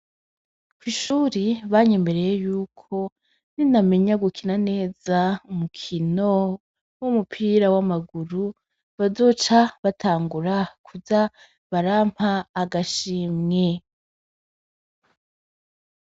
Kwishuri banyemereye yuko ninamenya gukina neza umukino w'umupira w'amaguru bazoca batangura kuza barampa agashimwe.